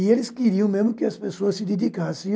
E eles queriam mesmo que as pessoas se dedicassem.